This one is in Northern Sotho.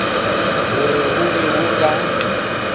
gore go be go ka